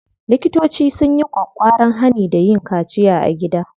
Likitoci sun yi ƙwaƙƙwaran hani da yin kaciya a gida.